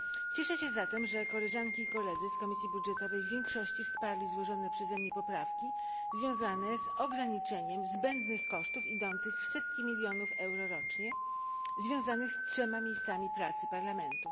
Cieszę się zatem, że koleżanki i koledzy z Komisji Budżetowej w większości wsparli złożone przeze mnie poprawki związane z ograniczeniem zbędnych kosztów idących w setki milionów euro rocznie, związanych z trzema miejscami pracy Parlamentu.